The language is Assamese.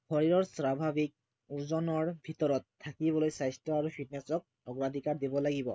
শৰীৰৰ স্বাভাৱিক ওজনৰ ভিতৰত থাকিবলৈ স্বাস্থ্য় আৰু fitness ক অগ্ৰাধিকাৰ দিব লাগিব